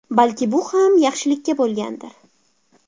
Balki bu ham yaxshilikka bo‘lgandir.